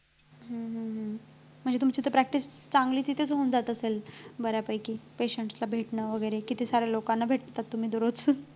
हम्म हम्म हम्म म्हणजे तुमची तर practice चांगली तिथंच होऊन जात असेल बऱ्यापैकी patient ला भेटणं वैगेरे किती सारे लोकांना भेटता तुम्ही दररोज